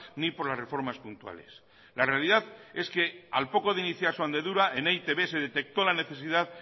ni por las reformas puntuales la realidad es que al poco de iniciar su andadura en e i te be de detectó la necesidad